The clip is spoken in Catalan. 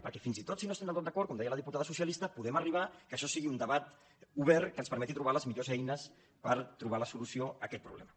perquè fins i tot si no hi estan del tot d’acord com deia la diputada socialista podem arribar que això sigui un debat obert que ens permeti trobar les millors eines per trobar la solució a aquest problema